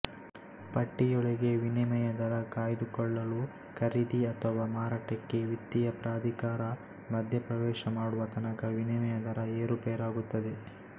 ಪಟ್ಟಿಯೊಳಗೆ ವಿನಿಮಯ ದರ ಕಾಯ್ದುಕೊಳ್ಳಲು ಖರೀದಿ ಅಥವಾ ಮಾರಾಟಕ್ಕೆ ವಿತ್ತೀಯ ಪ್ರಾಧಿಕಾರ ಮಧ್ಯಪ್ರವೇಶ ಮಾಡುವ ತನಕ ವಿನಿಮಯ ದರ ಏರುಪೇರಾಗುತ್ತದೆ